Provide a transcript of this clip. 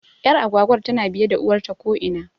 Ƴar agwagwar tana biye da uwarta ko ina